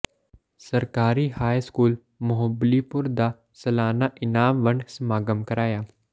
ਸਰਕਾਰੀ high school Muhabbalipur ਦਾ ਸਾਲਾਨਾ ਇਨਾਮ ਵੰਡ ਸਮਾਗਮ ਕਰਵਾਇਆ